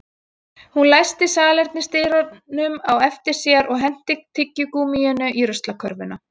Hún læsti salernisdyrunum á eftir sér og henti tyggigúmmíinu í ruslakörfuna